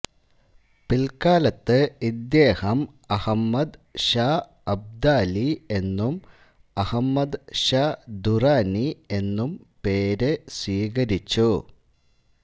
പിൽക്കാലത്ത് ഇദ്ദേഹം അഹമ്മദ് ഷാ അബ്ദാലി എന്നും അഹമ്മദ് ഷാ ദുറാനി എന്നും പേര് സ്വീകരിച്ചു